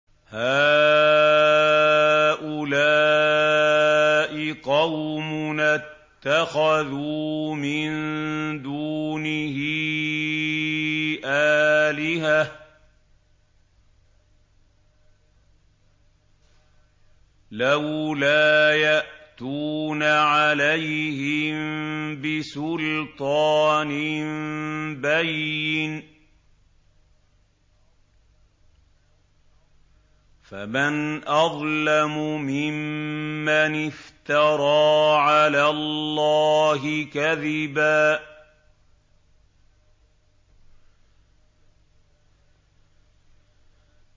هَٰؤُلَاءِ قَوْمُنَا اتَّخَذُوا مِن دُونِهِ آلِهَةً ۖ لَّوْلَا يَأْتُونَ عَلَيْهِم بِسُلْطَانٍ بَيِّنٍ ۖ فَمَنْ أَظْلَمُ مِمَّنِ افْتَرَىٰ عَلَى اللَّهِ كَذِبًا